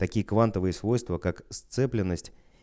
какие квантовые свойства как сцепленность